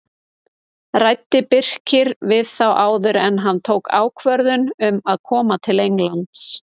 Ræddi Birkir við þá áður en hann tók ákvörðun um að koma til Englands?